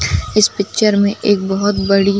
इस पिक्चर में एक बोहोत बड़ी --